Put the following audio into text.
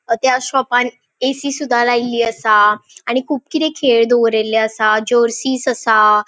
त्या शॉपान एसीसूदा लायली आसा आणि कुब किते खेळ दोवरिले आसा जर्सीस आसा.